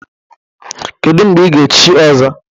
Kedu mgbe ị ga-echi Ọzọ?